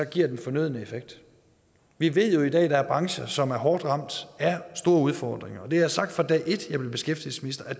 giver den fornødne effekt vi ved jo i dag at der er brancher som er hårdt ramt af store udfordringer og det har jeg sagt fra dag et som beskæftigelsesminister at